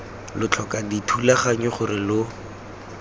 lo tlhoka dithulaganyo gore lo